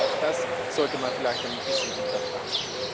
Auch das sollte man vielleicht ein bisschen hinterfragen.